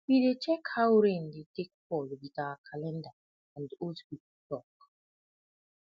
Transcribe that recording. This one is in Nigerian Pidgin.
we dey check how rain de take fall wit our calenda and old people talk